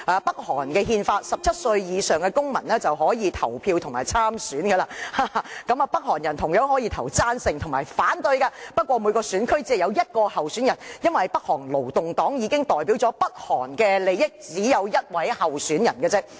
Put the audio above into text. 北韓的憲法規定17歲以上的公民已經可以投票和參選，北韓人同樣可以投贊成票和反對票，不過每個選區只有一名候選人，因為北韓勞動黨已經代表北韓的利益，故只需要一位候選人。